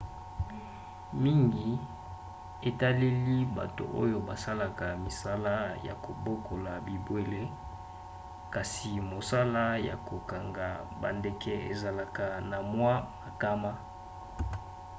mingi etaleli bato oyo basalaka misala ya kobokola bibwele kasi mosala ya kokanga bandeke ezalaka na mwa makama